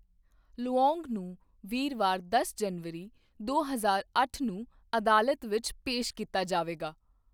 Luong ਨੂੰ ਵੀਰਵਾਰ ਦਸ ਜਨਵਰੀ, ਦੋ ਹਜ਼ਾਰ ਅੱਠ ਨੂੰ ਅਦਾਲਤ ਵਿੱਚ ਪੇਸ਼ ਕੀਤਾ ਜਾਵੇਗਾ।